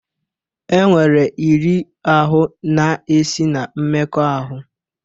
E nwere iri ahụ na-esi na mmekọahụ.